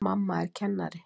Mamma er kennari.